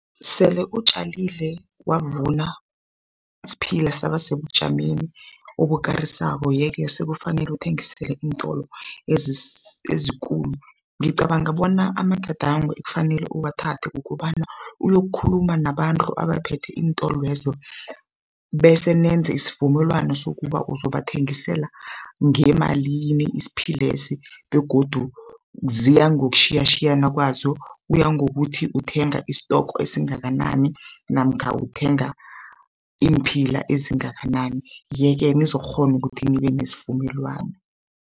Sele utjalile wavuna isiphila saba sebujameni obukarisako yeke sekufanele uthengisele iintolo ezikulu. Ngicabanga bona amagadango ekufanele uwathathe kukobana uyokukhuluma nabantu abaphethe iintolwezo bese nenze isivumelwano sokuba uzobathengisela ngemalini isiphilesi, begodu ziya ngokutjhiyatjhiyana kwazo, kuya ngokuthi uthenga isitoko esingakanani namkha uthenga iimphila ezingakanani, yeke nizokukghona ukuthi nibe nesivumelwano.